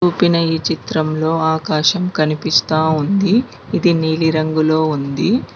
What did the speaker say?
ఇప్పిన ఈ చిత్రంలో ఆకాశం కనిపిస్తా ఉంది ఇది నీలి రంగులో ఉంది.